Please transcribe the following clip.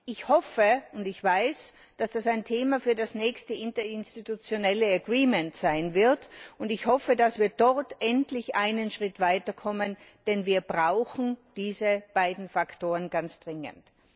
Ich hoffe und weiß, dass das ein Thema für die nächste interinstitutionelle Vereinbarung sein wird, und ich hoffe, dass wir dort endlich einen Schritt weiterkommen, denn wir brauchen diese beiden Faktoren ganz dringend.